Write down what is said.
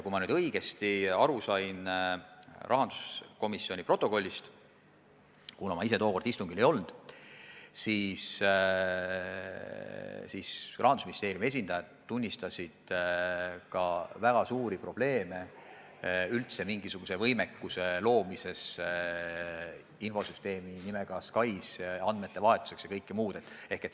Kui ma nüüd rahanduskomisjoni protokollist õigesti aru sain – ma ise tookord istungil ei olnud –, siis Rahandusministeeriumi esindajad tunnistasid ka väga suuri probleeme üldse mingisuguse võimekuse loomises, et infosüsteemis nimega SKAIS andmeid vahetada ja muud sellist.